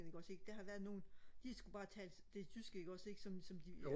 ikke også ikke der har været nogle de skulle bare tale det tyske ikke også ikke som som de